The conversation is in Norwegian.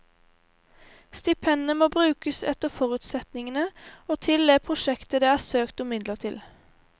Stipendet må brukes etter forutsetningene og til det prosjektet det er søkt om midler til.